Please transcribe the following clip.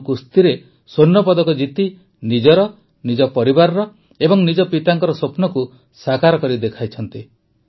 ତନୁ କୁସ୍ତିରେ ସ୍ୱର୍ଣ୍ଣପଦକ ଜିତି ନିଜର ନିଜ ପରିବାରର ଓ ନିଜ ପିତାଙ୍କ ସ୍ୱପ୍ନକୁ ସାକାର କରି ଦେଖାଇଛନ୍ତି